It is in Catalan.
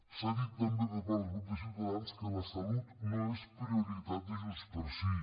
s’ha dit també per part del grup de ciutadans que la salut no és prioritat de junts pel sí